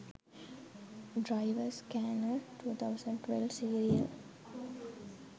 driver scanner 2012 serial